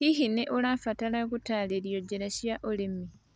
Hihi nĩ ũrabatara gũtaarĩrio njĩra cia ũrĩmi?